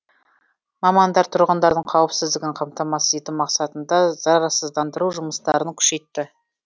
мамандар тұрғындардың қауіпсіздігін қамтамасыз ету мақсатында зарарсыздандыру жұмыстарын күшейтті